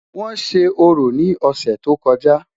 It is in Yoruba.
wón sé orò ni ọsẹ tó kojá